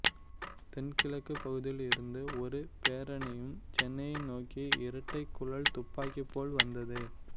தென் கிழக்கு பகுதில் இருந்து ஒரு பேரணியும் சென்னையை நோக்கி இரட்டைக்குழல் துக்பாக்கி போல் வந்தது